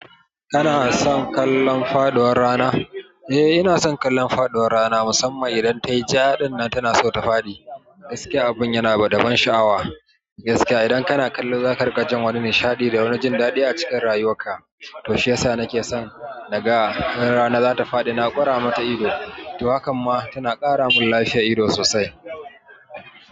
Kana son kallon faɗuwar rana? Eh, ina son kallon faɗuwar rana musamman idan tayi ja, ɗinnan tana so ta faɗi. Gaskiya, abun yana da daban sha'awa. Gaskiya idan kana kallo zaka riƙa jin wani nishadi da wani jin daɗi a cikin rayuwar ka. To shi yasa nake son naga idan rana zata faɗi na kura mata ido. To hakan ma tana kara mun lafiyar ido sosai.